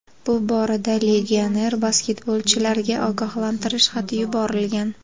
Bu borada legioner basketbolchilarga ogohlantirish xati yuborilgan.